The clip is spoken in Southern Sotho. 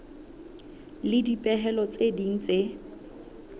le dipehelo tse ding tse